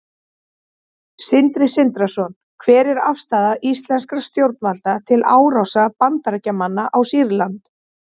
Sindri Sindrason: Hver er afstaða íslenskra stjórnvalda til árásar Bandaríkjamanna á Sýrland?